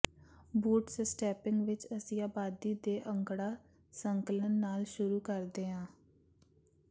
ਬੂਟਸਸਟੈਪਿੰਗ ਵਿੱਚ ਅਸੀਂ ਆਬਾਦੀ ਦੇ ਅੰਕੜਾ ਸੰਕਲਨ ਨਾਲ ਸ਼ੁਰੂ ਕਰਦੇ ਹਾਂ